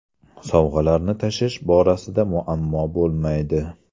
Sovg‘alarni tashish borasida muammo bo‘lmaydi.